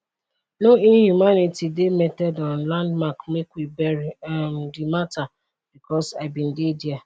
no inhumanity dey metted on landmark make we bury um di mata because i bin dey dia